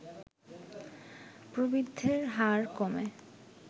প্রবৃদ্ধির হার কমে